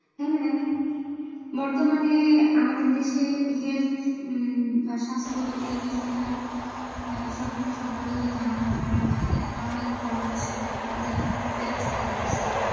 হ্যাঁ, বর্তমানে আমাদের দেশে health বা স্বাস্থ্য এই বিষয়টা সম্প্রতি সবারই জানা দরকার বা এটা একটা অনেক বড় বিষয়। অনেক বড় একটা fact হয়ে দাড়াইসে।